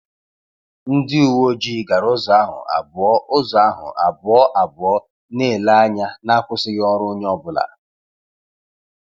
Ndị uwe ojii gara ụzọ ahụ abụọ ụzọ ahụ abụọ abụọ, na-ele anya na-akwụsịghị ọrụ onye ọ bụla